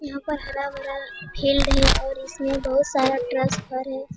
यहाँ पर हरा-भरा फील्ड है और इसमें बहुत सारा ट्रांसफर है।